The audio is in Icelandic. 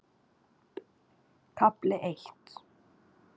KAFLI EITT